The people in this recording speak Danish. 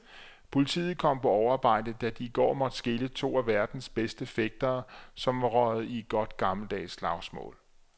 Politiet kom på overarbejde, da de i går måtte skille to af verdens bedste fægtere, som var røget i et godt gammeldags slagsmål.